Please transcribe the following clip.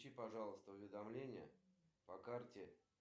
девять семь восемь семь девять